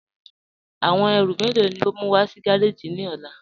Awọn èrú mélo ni o mú wà sí gàràjì ni ọ̀là?